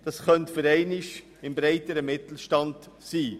Die Zielgruppe könnte diesmal der breitere Mittelstand sein.